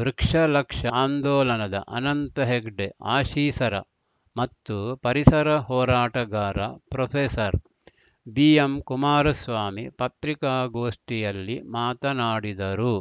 ವೃಕ್ಷಲಕ್ಷ ಆಂದೋಲನದ ಅನಂತ ಹೆಗಡೆ ಆಶೀಸರ ಮತ್ತು ಪರಿಸರ ಹೋರಾಟಗಾರ ಪ್ರೊಫೆಸರ್ ಬಿ ಎಂ ಕುಮಾರಸ್ವಾಮಿ ಪತ್ರಿಕಾಗೋಷ್ಠಿಯಲ್ಲಿ ಮಾತನಾಡಿದರು